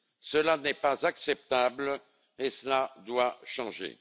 Cela n'est pas acceptable et cela doit changer.